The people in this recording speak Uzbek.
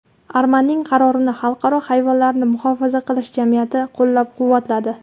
Armanining qarorini Xalqaro hayvonlarni muhofaza qilish jamiyati qo‘llab-quvvatladi.